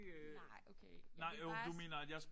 Nej okay. Men det bare sådan